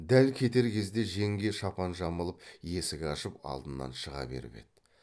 дәл кетер кезде жеңге шапан жамылып есік ашып алдынан шыға беріп еді